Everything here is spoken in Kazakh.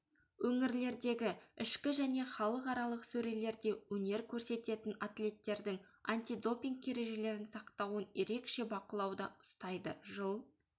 өңірлердегі ішкі және халықаралық сөрелерде өнер көрсететін атлеттердің антидопинг ережелерін сақтауын ерекше бақылауда ұстайды жыл